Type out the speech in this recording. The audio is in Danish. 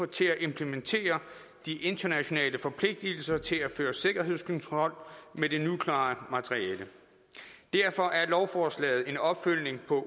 til at implementere de internationale forpligtelser til at føre sikkerhedskontrol med det nukleare materiale derfor er lovforslaget en opfølgning på